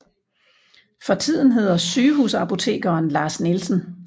For tiden hedder sygehusapotekeren Lars Nielsen